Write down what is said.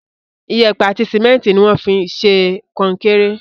Iyẹ̀pẹ̀ àti sìmẹ́ntì ni wọ́n fín ṣe kó kéré.